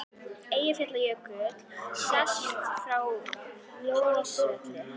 Eyjafjallajökull sést frá Hvolsvelli.